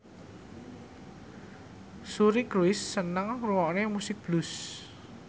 Suri Cruise seneng ngrungokne musik blues